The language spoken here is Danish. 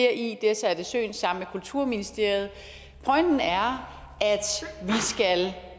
er sat i søen sammen med kulturministeriet pointen er